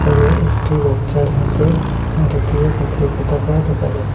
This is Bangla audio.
এখানে একটি বাচ্ছার হাতে ভারতীয় জাতীয় পতাকা দেখা যা--